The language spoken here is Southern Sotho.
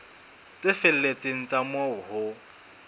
tse felletseng tsa moo ho